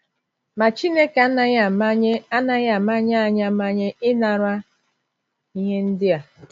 Ma, Chineke anaghị amanye anaghị amanye anyị amanye inara ihe ndi a.